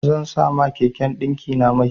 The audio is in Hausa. Zan sa ma keken ɗinkina mai.